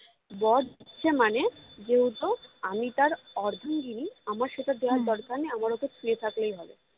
বর দিচ্ছে মানে যেহেতু আমি তার অর্ধাঙ্গিনী আমার সেটা দেওয়ার দরকার নেই আমার শুধু ছুঁয়ে থাকলেই হবে